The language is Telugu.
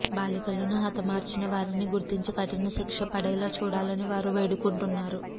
బాలికలను హతమార్చిన వారిని గుర్తించి కఠిన శిక్ష పడేలా చూడాలని వారు వేడుకుంటున్నారు